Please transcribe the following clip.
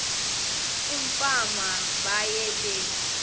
umfana baye bee